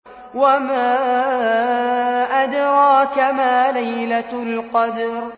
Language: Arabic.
وَمَا أَدْرَاكَ مَا لَيْلَةُ الْقَدْرِ